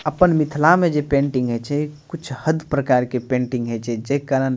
अपना मिथला में जे पेंटिंग हई छे कुछ हद प्रकार के पेंटिंग हई छे जे कारन --